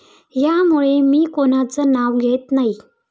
यामुळे मी कोणाचं नाव घेत नाही.